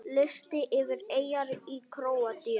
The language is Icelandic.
Listi yfir eyjar í Króatíu